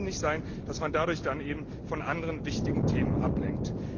Es kann nicht sein, dass man dadurch von anderen wichtigen Themen ablenkt.